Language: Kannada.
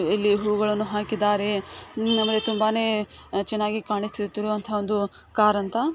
ಇಲ್ಲಿ ಹೂಗಳನ್ನು ಹಾಕಿದ್ದಾರೆ ನಮಗೆ ತುಂಬಾನೆ ಚೆನ್ನಾಗಿ ಕಾಣಿಸುತ್ತಿರುವಂತ ಒಂದು ಕಾರಂತ .